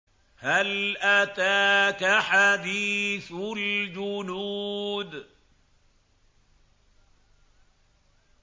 هَلْ أَتَاكَ حَدِيثُ الْجُنُودِ